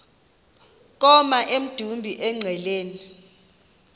koma emdumbi engqeleni